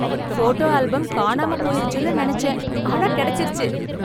photo album காணாம போயிருச்சுனு நெனச்சன் ஆனா கெடச்சுருச்சு